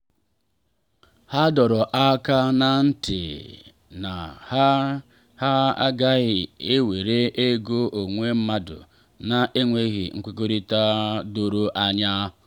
ha dọrọ aka na ntị na ha ha agaghị ewere ego onwe mmadụ na enweghị nkwekọrịta doro anya.